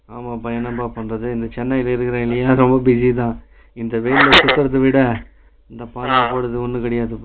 ஆமாப்பா என்னப்பா பண்றது இங்க சென்னைல நியின்நேரோ ஊட்டில இருக்க, இந்த வெயில்ல சுத்துரதுவிட Laugh இந்த பாலபோனது ஒன்னு இல்லப்பா